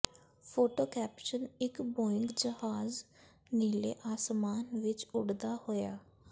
photo caption ਇੱਕ Boeing ਜਹਾਜ਼ ਨੀਲੇ ਆਸਮਾਨ ਵਿੱਚ ਉਡਦਾ ਹੋਇਆ